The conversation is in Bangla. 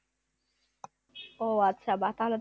ও আচ্ছা বাহ তাহলে তো